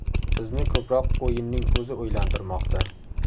Bizni ko‘proq o‘yinning o‘zi o‘ylantirmoqda.